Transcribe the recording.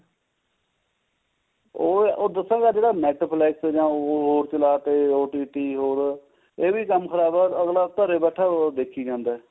ਉਹ ਦੱਸਾਂ ਅੱਜਕਲ netflix ਜਾਂ ਹੋਰ ਚਲਾਤੇ OTT ਹੋਰ ਇਹ ਵੀ ਕੰਮ ਖਰਾਬ ਹੈ ਆਪਣਾ ਘਰ ਬੈਠੀ ਦੇਖੀ ਜਾਂਦਾ